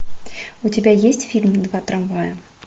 у тебя есть фильм два трамвая